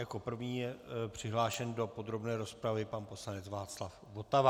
Jako první je přihlášen do podrobné rozpravy pan poslanec Václav Votava.